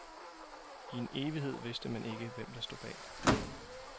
I en evighed vidste man ikke, hvem der stod bag.